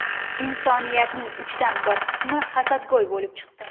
Insoniyatning uchdan bir qismi hasadgo‘y bo‘lib chiqdi.